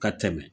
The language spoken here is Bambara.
Ka tɛmɛ